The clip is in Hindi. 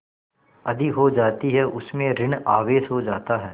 अधिक हो जाती है उसमें ॠण आवेश हो जाता है